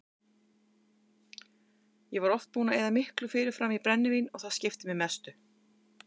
Ég var oft búinn að eyða miklu fyrirfram í brennivín og það skipti mig mestu.